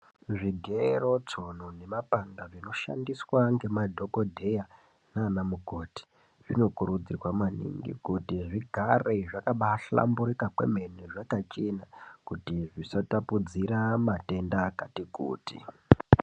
Zvigero ,tsono nemapanga zvinoshandiswa ngemadhogodheya nana mukoti. Zvinokurudzirwa maningi kuti zvigare zvakabahlamburika kwemene, zvakachena kuti zvisatapudzira matenda akati kuti.